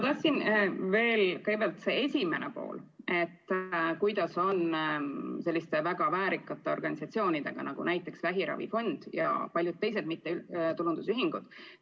Kõigepealt küsimuse esimene pool, kuidas on selliste väga väärikate organisatsioonidega, näiteks vähiravifond ja paljud teised mittetulundusühingud.